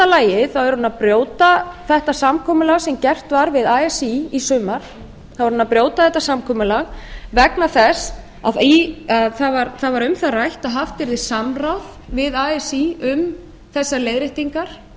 lagi að brjóta þetta samkomulag sem gert var við así í sumar þá er hún að brjóta þetta samkomulag vegna þess að það var um það rætt að haft yrði samráð við así um þessar leiðréttingar